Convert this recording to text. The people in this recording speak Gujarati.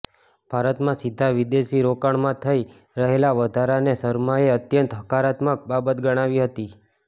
ભારતમાં સીધાં વિદેશી રોકાણમાં થઈ રહેલા વધારાને શર્માએ અત્યંત હકારાત્મક બાબત ગણાવી હતી